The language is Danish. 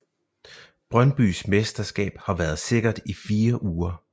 Brøndbys mesterskab har været sikkert i fire uger